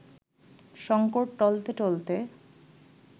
শঙ্কর টলতে টলতে